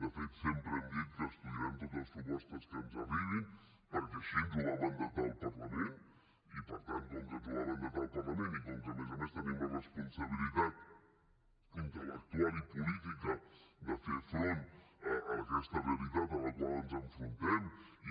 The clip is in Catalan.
de fet sempre hem dit que estudiarem totes les propostes que ens arribin perquè així ens ho va mandatar el parlament i per tant com que ens ho va mandatar el parlament i com a més a més tenim la responsabilitat intel·lectual i política de fer front a aquesta realitat a la qual ens enfrontem i